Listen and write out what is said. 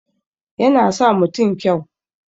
Yana sa mutun kyau